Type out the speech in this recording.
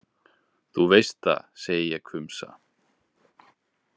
Þú veist það, segi ég hvumsa.